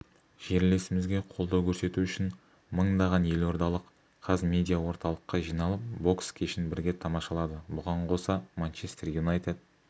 жерлесімізге қолдау көрсету үшін мыңдаған елордалық қазмедиаорталыққа жиналып бокс кешін бірге тамашалады бұған қоса манчестер юнайтед